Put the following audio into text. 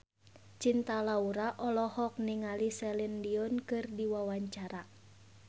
Cinta Laura olohok ningali Celine Dion keur diwawancara